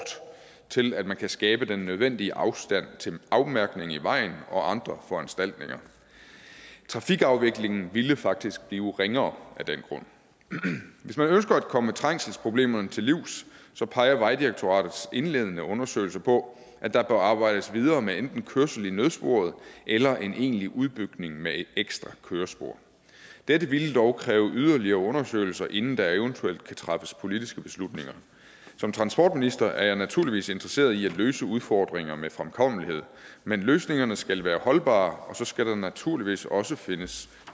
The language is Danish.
til at man kan skabe den nødvendige afstand til en afmærkning i vejen og andre foranstaltninger trafikafviklingen ville faktisk blive ringere af den grund hvis man ønsker at komme trængselsproblemerne til livs peger vejdirektoratets indledende undersøgelse på at der bør arbejdes videre med enten kørsel i nødsporet eller en egentlig udbygning med et ekstra kørespor dette ville dog kræve yderligere undersøgelser inden der eventuelt kan træffes politiske beslutninger som transportminister er jeg naturligvis interesseret i at løse udfordringer med fremkommelighed men løsningerne skal være holdbare og så skal der naturligvis også findes